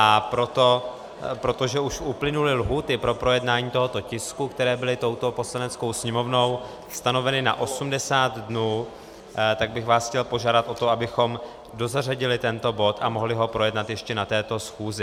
A protože už uplynuly lhůty pro projednání tohoto tisku, které byly touto Poslaneckou sněmovnou stanoveny na 80 dnů, tak bych vás chtěl požádat o to, abychom dozařadili tento bod a mohli ho projednat ještě na této schůzi.